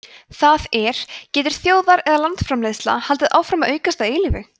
það er getur þjóðar eða landsframleiðsla haldið áfram að aukast að eilífu